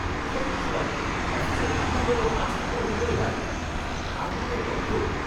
সত্যি বাবা! অফিসের রান্নাঘরে মাছ কে গরম করে ভাই? কী গা গুলানো গন্ধ!